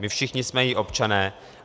My všichni jsme její občané.